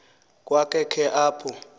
kwa khe apho